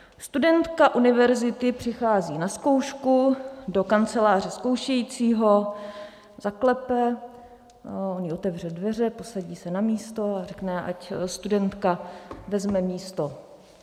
Studentka univerzity přichází na zkoušku do kanceláře zkoušejícího, zaklepe, on jí otevře dveře, posadí se na místo a řekne, ať studentka vezme místo.